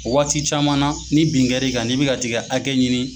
O waati caman na ni bin kɛri kan; ni bɛ ka tiga hakɛ ɲini.